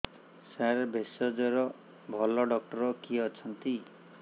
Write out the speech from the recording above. ସାର ଭେଷଜର ଭଲ ଡକ୍ଟର କିଏ ଅଛନ୍ତି